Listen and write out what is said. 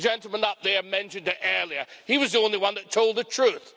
The gentleman up there mentioned that earlier. He was the only one that told the truth.